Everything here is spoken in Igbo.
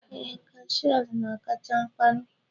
ee, Cashiers na-akacha mkparị.